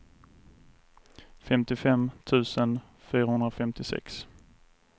femtiofem tusen fyrahundrafemtiosex